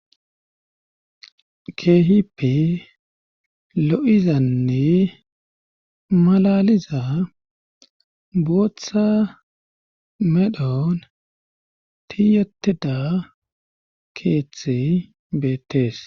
keehippe lo7izanne malaliza booththa medhon tiyatida keeththe beettees